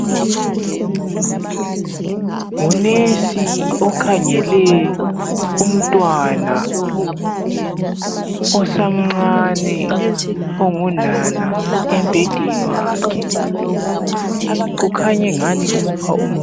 Ngunesi okhangele umntwana osamncane ongunana embhedeni wakhe. Kukhanya engani umupha umuthi.